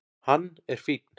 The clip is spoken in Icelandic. Hann er fínn.